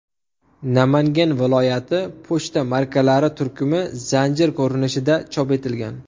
Namangan viloyati” pochta markalari turkumi zanjir ko‘rinishida chop etilgan.